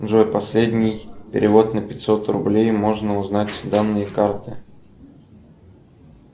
джой последний перевод на пятьсот рублей можно узнать данные карты